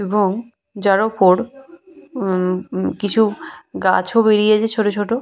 এবং যারা ওপর হুম হুম কিছু গাছও বেরিয়েছে ছোট ছোট।